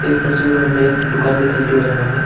तस्वीर में हमें एक दुकान दिखाई दे रहा है।